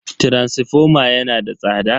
taransifoma yana da tsada.